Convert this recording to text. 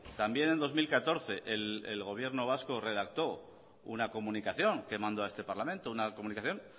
también en dos mil catorce el gobierno vasco redactó una comunicación que mandó a este parlamento una comunicación